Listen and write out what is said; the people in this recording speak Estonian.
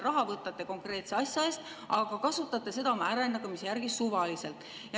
Raha võtate konkreetse asja eest, aga kasutate seda oma äranägemise järgi suvaliselt.